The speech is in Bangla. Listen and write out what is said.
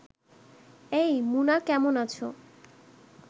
এই, মুনা কেমন আছ